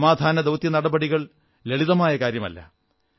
സമാധാന ദൌത്യ നടപടികൾ ലളിതമായ കാര്യമല്ല